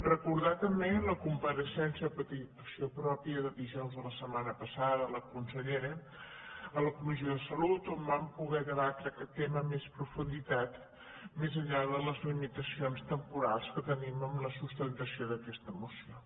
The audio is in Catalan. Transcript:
recordar també la compareixença a petició pròpia de dijous de la setmana passada de la consellera a la co·missió de salut on vam poder debatre aquest tema amb més profunditat més enllà de les limitacions temporals que tenim en la sustentació d’aquesta moció